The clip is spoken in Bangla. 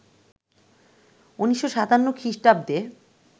১৯৫৭ খ্রিষ্টাব্দে